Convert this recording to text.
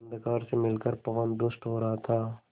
अंधकार से मिलकर पवन दुष्ट हो रहा था